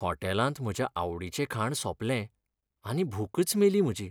हॉटेलांत म्हज्या आवडीचें खाण सोंपलें आनी भूकच मेली म्हजी.